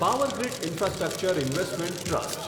Power Grid infrastructure investment trust